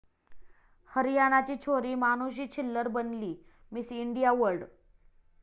हरियाणाची छोरी मानुषी छिल्लर बनली 'Miss India world'